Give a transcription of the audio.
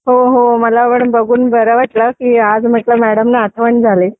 हो हो मला पण बघून बरं वाटलं की आज म्हटलं मॅडम ना आठवण झाली